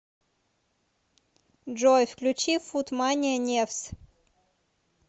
джой включи фут мания невз